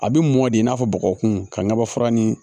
A bɛ mɔ de i n'a fɔ bɔgɔ kun ka ɲaba fura ni